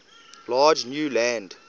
large new land